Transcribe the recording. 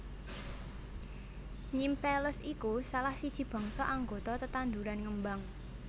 Nymphaeales iku salah siji bangsa anggota tetanduran ngembang